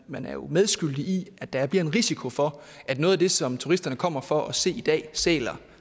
man jo medskyldig i at der bliver en risiko for at noget af det som turisterne kommer for at se i dag sæler